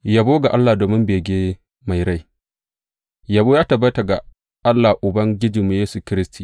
Yabo ga Allah domin bege mai rai Yabo ya tabbata ga Allah Uban Ubangijinmu Yesu Kiristi!